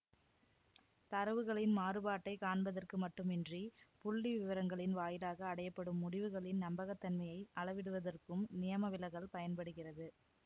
தரவுகளின் மாறுபாட்டைக் காண்பதற்கு மட்டுமின்றி புள்ளிவிவரங்களின் வாயிலாக அடையப்படும் முடிவுகளின் நம்பகத்தன்மையை அளவிடுவதற்கும் நியமவிலகல் பயன்படுகிறது